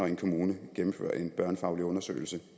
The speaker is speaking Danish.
en kommune gennemfører en børnefaglig undersøgelse